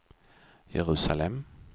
Jerusalem